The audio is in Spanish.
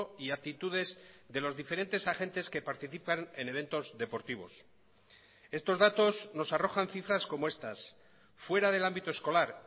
y actitudes de los diferentes agentes que participan en eventos deportivos estos datos nos arrojan cifras como estas fuera del ámbito escolar